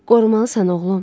Qorumalısan, oğlum.